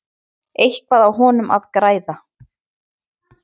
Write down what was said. Eitthvað á honum að græða?